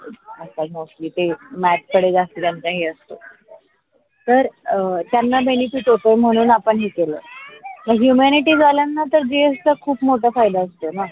के ते math कडे जास्त त्यांना हे असतो. तर त्यांना benefit होतो म्हणून आपण हे केल humanity झालं तर gs ला खूप मोठा फायेधा असतोना.